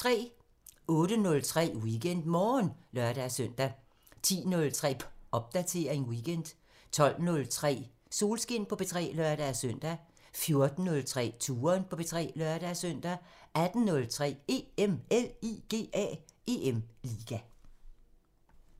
08:03: WeekendMorgen (lør-søn) 10:03: Popdatering weekend 12:03: Solskin på P3 (lør-søn) 14:03: Touren på P3 (lør-søn) 18:03: EM LIGA